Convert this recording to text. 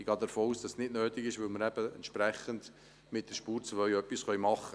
Ich gehe davon aus, dass dies nicht nötig sein wird, da wir mit der «Spur 2» etwas machen können.